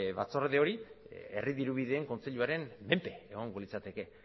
batzorde hori herri dirubideen kontseiluaren menpe egongo litzateke